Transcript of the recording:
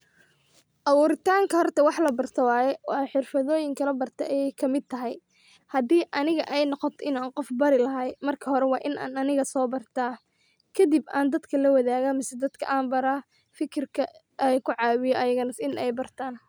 Aburitanka horta waxlabarto waye xirfadoyinka labarto, ayay kamid tahay ,hadi aniga ay noqoto inan qof barlahay marka hore wa inan aniga so barta kadip an dadka lawadaga mise an dadka bara fikirka ay ankucawiya ayana in ay bartan.